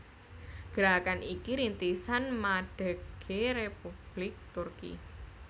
Gerakan iki rintisan madegé Republik Turki